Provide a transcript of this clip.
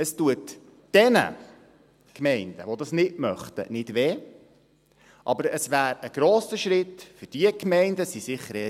Es tut denjenigen Gemeinden, die dies nicht möchten, nicht weh, aber es wäre ein grosser Schritt für jene Gemeinden im Kanton Bern, die dies möchten.